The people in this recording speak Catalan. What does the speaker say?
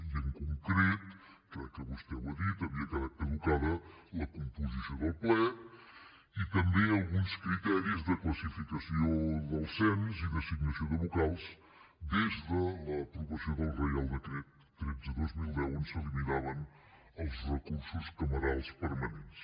i en concret crec que vostè ho ha dit havia quedat caducada la composició del ple i també alguns criteris de classificació del cens i d’assignació de vocals des de l’aprovació del reial decret tretze dos mil deu on s’eliminaven els recursos camerals permanents